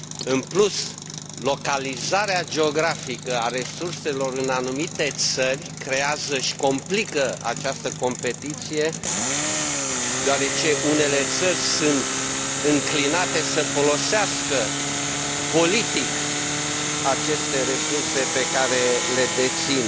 În plus, localizarea geografică a resurselor în anumite țări creează și complică această competiție, deoarece unele țări sunt înclinate să folosească politic aceste resurse pe care le dețin.